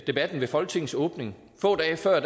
debatten ved folketingets åbning få dage før